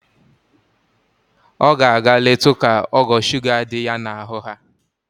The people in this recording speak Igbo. O ga-aga letu ka ogo shuga di ya n'ahụ haa.